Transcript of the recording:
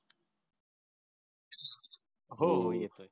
हो हो येतोय